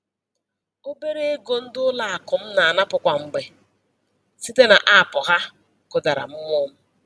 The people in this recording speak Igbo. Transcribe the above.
Obere ego ndị ụlọakụ m na-anapụ kwa mgbe site n'aapụ ha kụdara mmụọ m.